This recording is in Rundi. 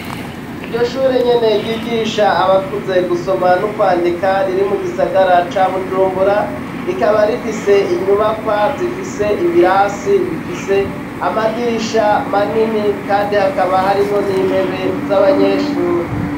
Iryo shure nyene ryigisha abakuze gusoma n'ukwandika riri mu gisagara ca Bujumbura rikaba rifise inyubakwa zifise ibirasi bifise amadirisha manini kandi hakaba harimwo n'intebe z'abanyeshuri